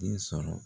Den sɔrɔ